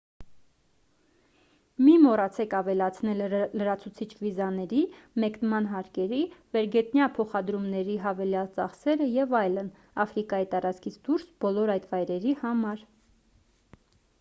մի մոռացեք ավելացնել լրացուցիչ վիզաների մեկնման հարկերի վերգետնյա փոխադրումների հավելյալ ծախսերը և այլն աֆրիկայի տարածքից դուրս բոլոր այդ վայրերի համար